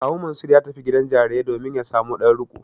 Kawu Mansur ya tafi gidan jarirai domin ya samo ɗan riƙo.